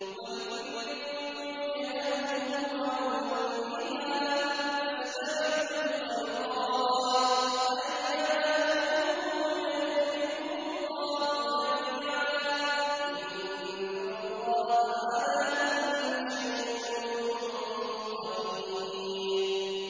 وَلِكُلٍّ وِجْهَةٌ هُوَ مُوَلِّيهَا ۖ فَاسْتَبِقُوا الْخَيْرَاتِ ۚ أَيْنَ مَا تَكُونُوا يَأْتِ بِكُمُ اللَّهُ جَمِيعًا ۚ إِنَّ اللَّهَ عَلَىٰ كُلِّ شَيْءٍ قَدِيرٌ